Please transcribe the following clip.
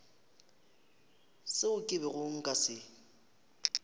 seo ke bego nka se